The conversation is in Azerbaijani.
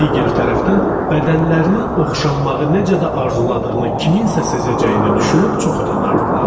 Digər tərəfdən, bədənlərinin oxşanmağı necə də arzuladığını kimsənin sezəcəyini düşünüb çox utanardılar.